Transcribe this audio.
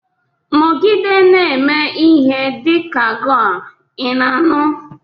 Nọgide na-eme ihe dị ka goar, ị na-anụ?